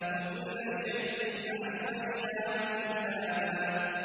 وَكُلَّ شَيْءٍ أَحْصَيْنَاهُ كِتَابًا